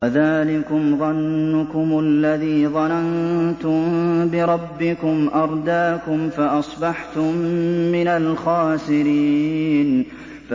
وَذَٰلِكُمْ ظَنُّكُمُ الَّذِي ظَنَنتُم بِرَبِّكُمْ أَرْدَاكُمْ فَأَصْبَحْتُم مِّنَ الْخَاسِرِينَ